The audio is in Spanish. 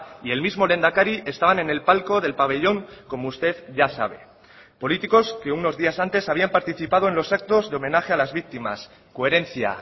y el mismo lehendakari estaban en el palco del pabellón como usted ya sabe políticos que unos días antes habían participado en los actos de homenaje a las víctimas coherencia